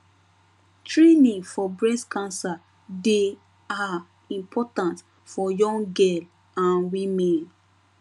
training for breast cancer dey ah important for young girl and women